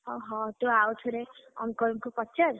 ଓହୋଃ, ତୁ ଆଉଥରେ uncle ଙ୍କୁ ପଚାର୍,